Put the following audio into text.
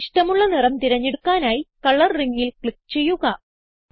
ഇഷ്ടമുള്ള നിറം തിരഞ്ഞെടുക്കാനായി കളർ ringൽ ക്ലിക്ക് ചെയ്യുക